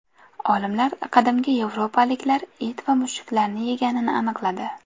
Olimlar qadimgi yevropaliklar it va mushuklarni yeganini aniqladi.